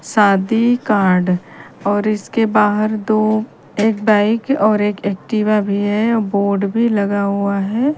शादी कार्ड और इसके बाहार दो एक बाइक और एक एक्टिवा भी है बोर्ड भी लगा हुआ है।